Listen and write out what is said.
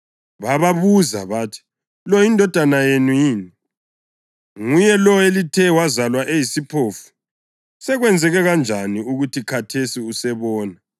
Bababuza bathi, “Lo yindodana yenu yini? Nguye lo elithi wazalwa eyisiphofu? Sekwenzeke kanjani ukuthi khathesi usebona?”